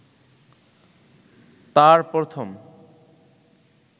তাঁর প্রথম